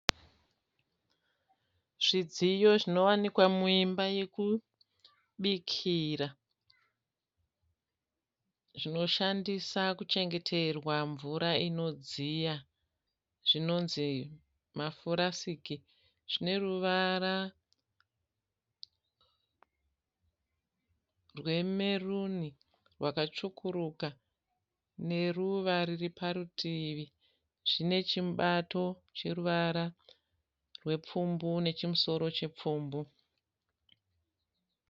Zvidziyo zvinowanikwa muimba yokubikira zvinoshandisa kuchengeterwa mvura inodziya zvinonzi mafurasiki. Zvine ruvara rwemeruni rwakatsvukuruka neruva riri parutivi. Zvine chimubato choruvara rwepfumbu nechimusoro chipfumbu.